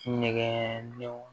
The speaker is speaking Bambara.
Ɲɛgɛnw